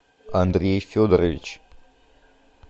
андрей федорович